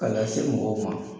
Ka taa se mɔgɔw fan fan